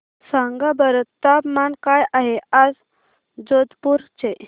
सांगा बरं तापमान काय आहे आज जोधपुर चे